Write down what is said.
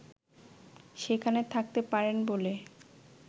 সেখানে থাকতে পারেন বলে